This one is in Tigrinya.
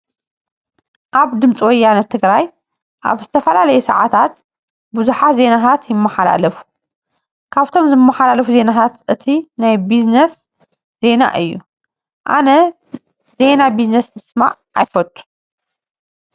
ኣብ ድምፂ ወያነ ትግራይ ኣብ ዝተፈላለየ ሰዓታት ብዙሓት ዜናታት ይመሓላለፉ። ካብቶም ዝመሓላለፉ ዜናታት እቲ ናይ ቢዝነስ ዜና እዩ። ኣነ ዜና ቢዝነስ ምስማይ ኣይፈትውን።